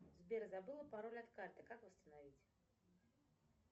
сбер забыла пароль от карты как восстановить